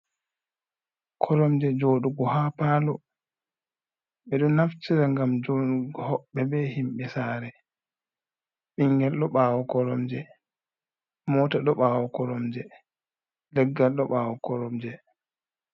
Koromje jodugo ha palo, ɓeɗo naftita ngam joɗugo hoɓɓe ɓe himɓe sare, bingal ɗo ɓawo koromje mota ɗo ɓawo koromje, leggal do ɓawo koromje.